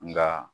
Nka